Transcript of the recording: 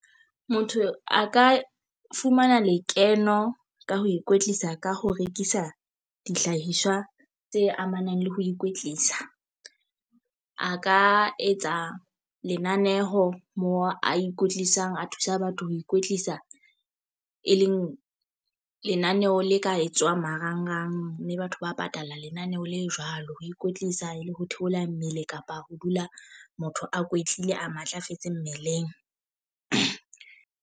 Motho a ka fumana lekeno ka ho ikwetlisa ka ho rekisa dihlahiswa tse amanang le ho ikwetlisa. A ka etsa lenaneho mo a ikwetlisang a thusa batho ho ikwetlisa, e leng lenaneo le ka etswang marangrang mme batho ba patala lenaneho le jwalo. Ho ikwetlisa le ho theola mmele kapa ho dula motho a kwetlile a matlafetse mmeleng.